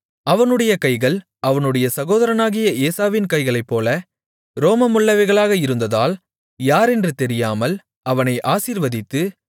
அவனுடைய கைகள் அவனுடைய சகோதரனாகிய ஏசாவின் கைகளைப்போல ரோமமுள்ளவைகளாக இருந்ததால் யாரென்று தெரியாமல் அவனை ஆசீர்வதித்து